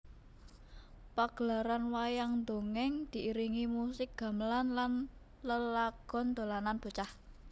Pagelaran Wayang Dongèng diiringi musik gamelan lan lelagon dolanan bocah